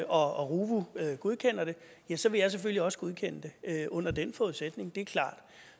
og ruvu godkender det ja så vil jeg selvfølgelig også godkende det under den forudsætning det er klart